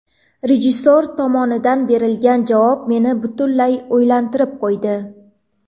Rejissor tomonidan berilgan javob meni butunlay o‘ylantirib qo‘ydi.